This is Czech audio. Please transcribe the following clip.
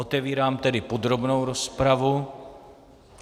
Otevírám tedy podrobnou rozpravu.